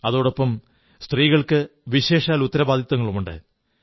അതോടൊപ്പം സ്ത്രീകൾക്ക് വിശേഷാൽ ഉത്തരവാദിത്വങ്ങളുമുണ്ട്